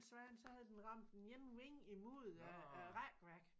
Svane så havde den ramt den ene vinge imod æ æ rækværk